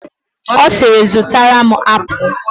Ọ siiri, zụtara m apụl!